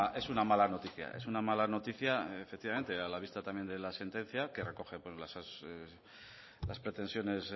es una mala noticia es una mala noticia efectivamente a la vista también de la sentencia que recoge pues las pretensiones